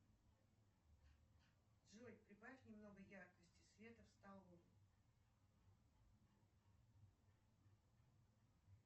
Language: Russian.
джой прибавь немного яркости света в столовой